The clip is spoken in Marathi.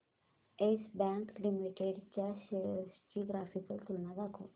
येस बँक लिमिटेड च्या शेअर्स ची ग्राफिकल तुलना दाखव